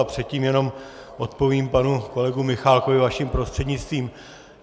A předtím jenom odpovím panu kolegovi Michálkovi vaším prostřednictvím.